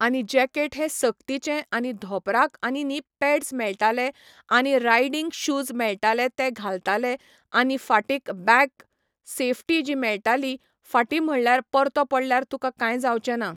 आनी जॅकेट हे सक्तीचे आनी धोंपराक आनी नी पॅड्स मेळटाले आनी रायडींग शूज मेळटाले ते घालताले आनी फाटीक बॅक सेफ्टी जी मेळटाली फाटी म्हणल्यार परतो पडल्यार तुका काय जावचें ना.